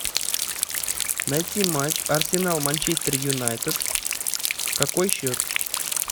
найти матч арсенал манчестер юнайтед какой счет